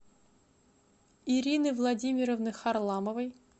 ирины владимировны харламовой